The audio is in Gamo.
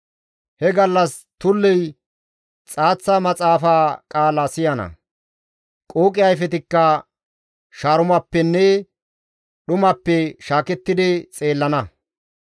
He gallas tulley xaaththa maxaafa qaala siyana; qooqe ayfetikka shaarumappenne dhumappe shaakettidi xeellana.